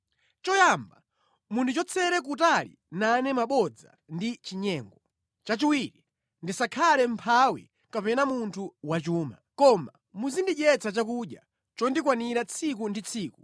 Choyamba, mundichotsere kutali nane mabodza ndi chinyengo. Chachiwiri, ndisakhale mʼmphawi kapena munthu wachuma. Koma muzindidyetsa chakudya chondikwanira tsiku ndi tsiku